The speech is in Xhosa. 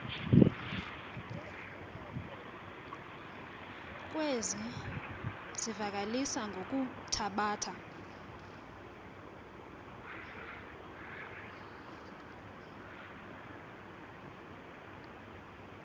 kwezi zivakalisi ngokuthabatha